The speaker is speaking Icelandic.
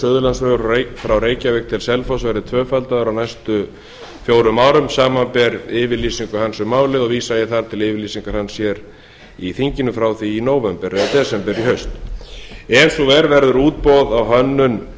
suðurlandsvegur milli reykjavíkur og selfoss verði tvöfaldaður á næstu fjórum árum samanber yfirlýsingu hans um málið og vísa ég þar til yfirlýsingar hans hér í þinginu frá því nóvember eða desember í haust ef svo er verður útboð á hönnun